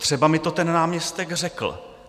Třeba mi to ten náměstek řekl.